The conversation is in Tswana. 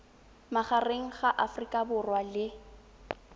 magareng ga aforika borwa le